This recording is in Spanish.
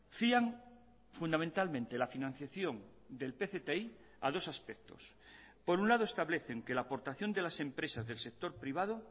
fían fundamentalmente la financiación del pcti a dos aspectos por un lado establecen que la aportación de las empresas del sector privado